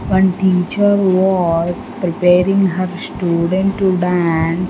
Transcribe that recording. one teacher was preparing her student to dance.